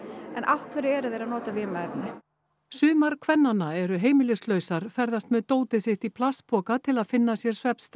en afhverju eru þeir að nota vímuefni sumar kvennanna eru heimilislausar ferðast með dótið sitt í plastpoka til að finna svefnstað